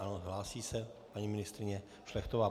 Ano, hlásí se paní ministryně Šlechtová.